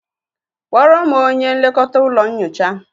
Kpọrọ m onye nlekọta ụlọ nyocha